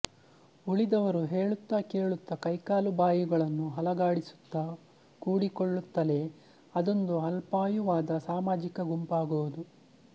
ಉಳಿದವರು ಹೇಳುತ್ತ ಕೇಳುತ್ತ ಕೈಕಾಲು ಬಾಯಿಗಳನ್ನು ಅಲುಗಾಡಿಸುತ್ತ ಕೂಡಿಕೊಳ್ಳುತ್ತಲೇ ಅದೊಂದು ಅಲ್ಪಾಯುವಾದ ಸಾಮಾಜಿಕ ಗುಂಪಾಗುವುದು